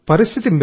పరిస్థితి